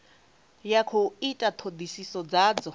ya khou ita thodisiso dzadzo